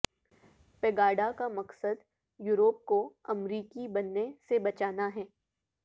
Pegida کا مقصد Europe کو امریکی بننے سے بچانا ہے